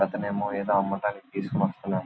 ఇంకొక్క అతను ఏమో ఏదో అమ్మకానికి తీసుకొని వస్తున్నాడు.